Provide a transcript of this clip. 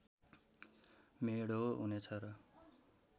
मेढो हुनेछ र